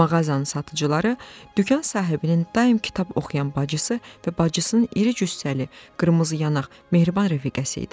Mağazanın satıcıları, dükan sahibinin daim kitab oxuyan bacısı və bacısının iri cüssəli, qırmızı yanaq, mehriban rəfiqəsi idi.